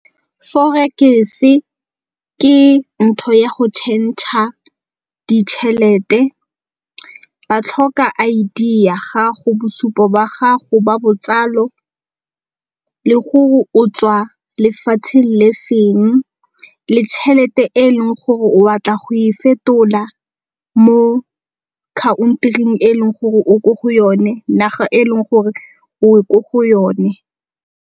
Forex-e ke ntho ya go tšhentšha ditšhelete. Ba tlhoka I_D ya gago, bosupo ba gago ba botsalo gore o tswa lefatsheng le feng le tšhelete e leng gore o batla go e fetola mo country-ing e leng gore o ko go yone, naga e leng gore o ko go yone.